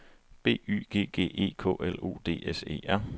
B Y G G E K L O D S E R